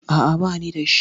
A'a, bani da shi.